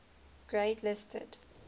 grade listed